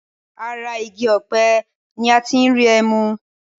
Ara igi ọ̀pẹ ní a tí n rí ẹmu.